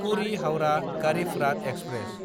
पुरि–हाउरा Garib Rath express